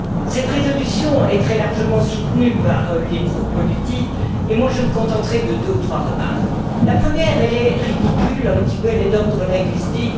Cette résolution est très largement soutenue par les groupes politiques, et moi, je me contenterai de deux ou trois remarques la première est un peu ridicule, elle est d'ordre linguistique.